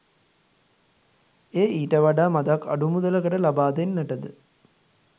එය ඊට වඩා මදක් අඩු මුදලකට ලබා දෙන්නටද